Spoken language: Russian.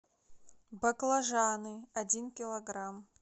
баклажаны один килограмм